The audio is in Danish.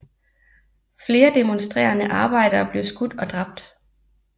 Flere demonstrerende arbejdere blev skudt og dræbt